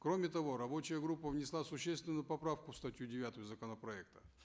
кроме того рабочая группа внесла существенную поправку в статью девятую законопроекта